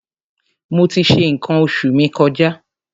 Mo ti ṣe nǹkan oṣù mi kọjá.